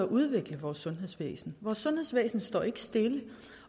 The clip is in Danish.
udvikle vores sundhedsvæsen vores sundhedsvæsen står ikke stille